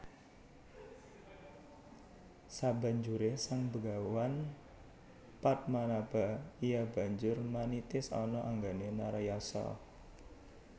Sabanjure Sang begawan Padmanaba iya banjur manitis ana anggane Narayasa